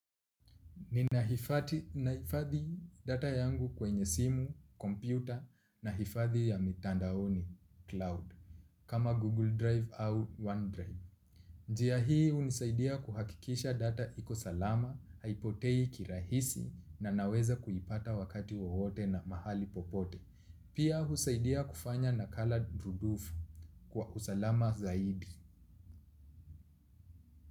Ninahifadhi data yangu kwenye simu, kompyuta na hifadhi ya mitandaoni, cloud Kama Google Drive au OneDrive. Njia hii hunisaidia kuhakikisha data iko salama, haipotei kirahisi na naweza kuipata wakati wowote na mahali popote. Pia husaidia kufanya na colored rudufu kwa usalama zaidi.